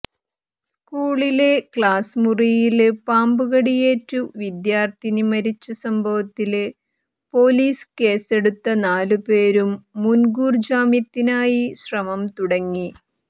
സ്കൂളിലെ ക്ലാസ്മുറിയില് പാമ്പുകടിയേറ്റ് വിദ്യാര്ഥിനി മരിച്ച സംഭവത്തില് പോലീസ് കേസെടുത്ത നാലുപേരും മുന്കൂര്ജാമ്യത്തിനായി ശ്രമം തുടങ്ങി